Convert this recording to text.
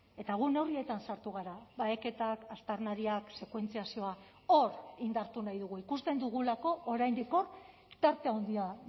eta gu neurrietan sartu gara baheketak aztarnariak sekuentziazioa hor indartu nahi dugu ikusten dugulako oraindik hor tarte handia